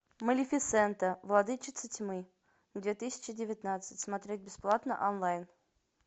малефисента владычица тьмы две тысячи девятнадцать смотреть бесплатно онлайн